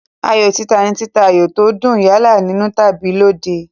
Ayò títa ni títa ayò tó dùn, yálà nínú tàbí lóde.